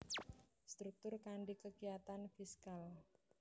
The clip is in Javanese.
Struktur kanthi kekiyatan fiskal